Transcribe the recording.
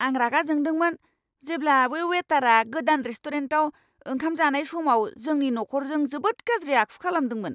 आं रागा जोंदोंमोन जेब्ला बे वेटारआ गोदान रेस्टुरेन्टाव ओंखाम जानाय समाव जोंनि नखरजों जोबोद गाज्रि आखु खालामदोंमोन!